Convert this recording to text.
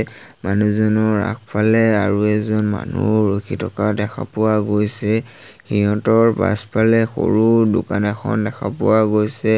মানুহজনৰ আগফালে আৰু এজন মানুহ ৰখি থকা দেখা পোৱা গৈছে সিহঁতৰ পাছফালে সৰু দোকান এখন দেখা পোৱা গৈছে।